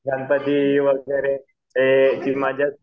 ती मजाच